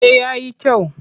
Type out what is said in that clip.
Eh ya yi kyau.